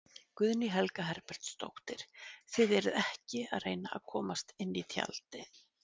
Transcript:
Guðný Helga Herbertsdóttir: Þið eruð ekki að reyna að komast inn í tjaldið?